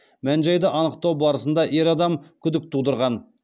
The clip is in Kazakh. мән жайды анықтау барысында ер адам күдік тудырған